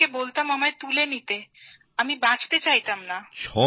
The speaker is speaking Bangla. ভগবানকে বলতাম আমায় তুলে নিতে আমি বাঁচতে চাইনা